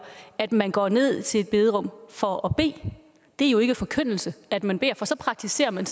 at man går ned i sit bederum for at bede det er jo ikke forkyndelse at man beder for så praktiserer man